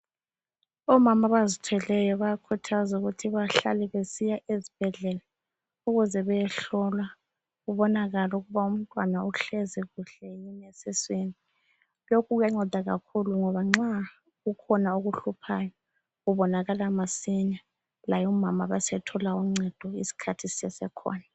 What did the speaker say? Omama abazithweleyo bayakhuthazwa ukuthi bahlale besiya ezibhedlela ukuze beyehlolwa kuboanakale ukuba umtwana uhlezi kuhle yini esiswini. Lokhu kuyanceda kakhulu ngoba nxa kukhona okuhluphayo kubonakala masinya laye umama abesethola uncedo isikhathi sisasekhona.